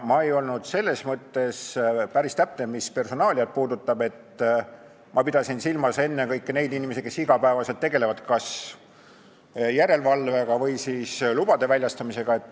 Ma ei olnud selles mõttes päris täpne, mis personaaliat puudutab, et ma pidasin silmas ennekõike neid inimesi, kes igapäevaselt tegelevad kas järelevalvega või lubade väljastamisega.